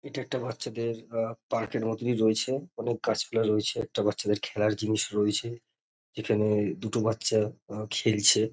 এটা একটা বাচ্চাদের আ পার্ক -এর মতনি রয়েছে অনেক গাছপালা রয়েছে একটা বাচ্চাদের খেলার জিনিস রয়েছে যেখানে-এ দুটো বাচ্ছা খেলছে।